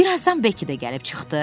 Bir azdan Bekki də gəlib çıxdı.